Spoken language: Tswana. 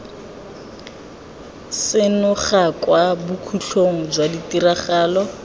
senoga kwa bokhutlong jwa ditiragalo